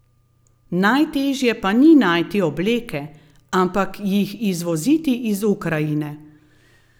Najtežje pa ni najti obleke, ampak jih izvoziti iz Ukrajine.